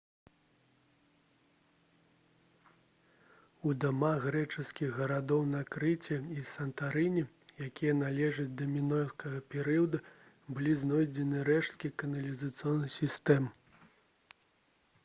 у дамах грэчаскіх гарадоў на крыце і сантарыне якія належаць да мінойскага перыяду былі знойдзены рэшткі каналізацыйных сістэм